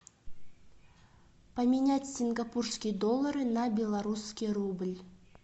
поменять сингапурские доллары на белорусский рубль